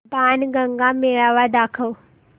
बाणगंगा मेळावा दाखव